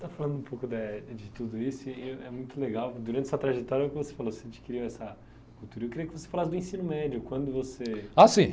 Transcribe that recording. Você está falando um pouco da, de tudo isso e eu, é muito legal, durante essa trajetória, é o que você falou, você adquiriu essa cultura, eu queria que você falasse do ensino médio, quando você...h, sim.